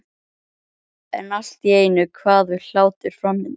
En allt í einu kvað við hlátur framundan.